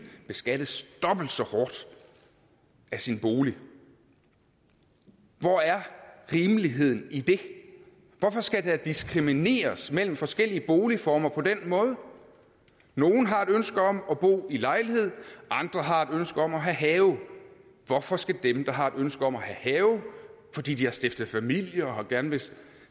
beskattes dobbelt så hårdt af sin bolig hvor er rimeligheden i det hvorfor skal der diskrimineres mellem forskellige boligformer på den måde nogle har et ønske om at bo i lejlighed andre har et ønske om at have have hvorfor skal dem der har et ønske om at have have fordi de har stiftet familie og gerne vil